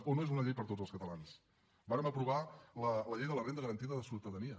o no és una llei per a tots els catalans vàrem aprovar la llei de la renda garantida de ciutadania